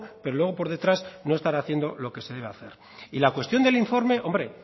pero luego por detrás no estar haciendo lo que se debe hacer y la cuestión del informe hombre